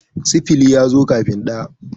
sifili ya zo kafin ɗaya